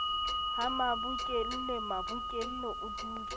ha mabokelle mabokelle o dutse